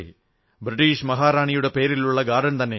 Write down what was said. British മഹാറാണിയുടെ പേരിലുള്ള garden തന്നെ